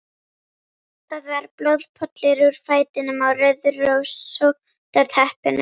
Það var blóðpollur úr fætinum á rauðrósótta teppinu.